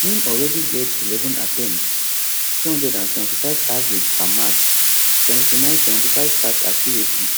im already get eleven attempts 275 average per match 7975 pass accuracy